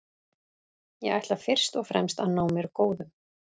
Ég ætla fyrst og fremst að ná mér góðum.